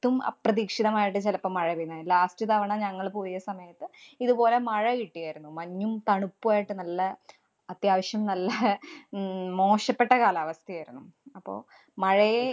~ത്തും അപ്രതീക്ഷിതമായിട്ട് ചെലപ്പോ മഴ പെയ്യുന്നെ. Last തവണ ഞങ്ങള് പോയ സമയത്ത് ഇതുപോലെ മഴ കിട്ടിയാരുന്നു. മഞ്ഞും, തണുപ്പുമായിട്ട് നല്ല അത്യാവശ്യം നല്ല അഹ് ഉം മോശപ്പെട്ട കാലാവസ്ഥേരുന്നു. അപ്പൊ മഴയെ